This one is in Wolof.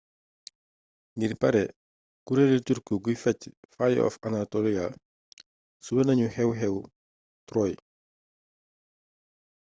ngir pare kureelu turki guy fecc fire of anatolia suwe nanu xeew xew troy